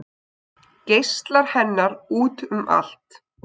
Geislar hennar út um allt